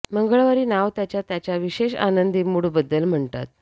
मंगळवारी नाव त्याच्या त्याच्या विशेष आनंदी मूड बद्दल म्हणतात